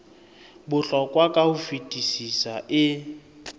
bohlokwa ka ho fetisisa e